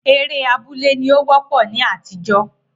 Eré abúlé ní ó wọ́pọ̀ ní àtijó